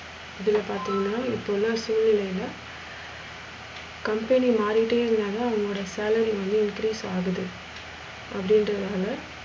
அதில பாத்திங்கனா இப்போ உள்ள சூழ்நிலையில, company மாறிட்ட இருந்தநால அவங்களோட salary increase ஆகுது அப்டி இன்றதால,